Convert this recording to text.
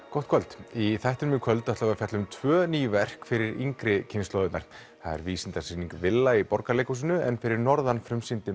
gott kvöld í þættinum í kvöld ætlum við að fjalla um tvö ný verk fyrir yngri kynslóðirnar það er Vísindasýning villa í Borgarleikhúsinu en fyrir norðan frumsýndi